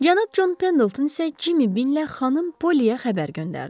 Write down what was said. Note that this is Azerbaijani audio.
Cənab Con Pendalton isə Cimi Billə xanım Poliyə xəbər göndərdi.